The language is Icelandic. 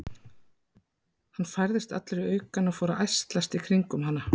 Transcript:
Hann færðist allur í aukana og fór að ærslast í kringum hana.